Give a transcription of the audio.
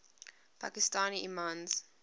pakistani imams